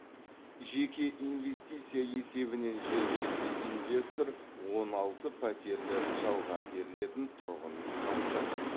жеке инвестиция есебінен жергілікті инвестор он алты пәтерлі жалға берілетін тұрғын үй салып жатыр